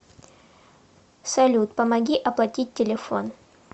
салют помоги оплатить телефон